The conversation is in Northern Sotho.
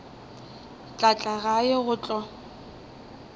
tla tla gae go tlo